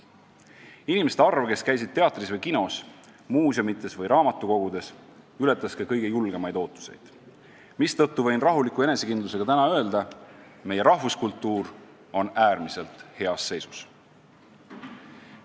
Inimeste arv, kes käisid teatris ja kinos, muuseumites ja raamatukogudes, ületas ka kõige julgemad ootused, mistõttu võin täna rahuliku enesekindlusega öelda: meie rahvuskultuur on äärmiselt heas seisus.